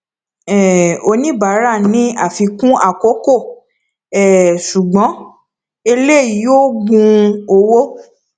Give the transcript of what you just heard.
um oníbàárà ní àfikún àkókò um ṣùgbọn èlé yóò gun owó